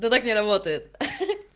то так не работает ха ха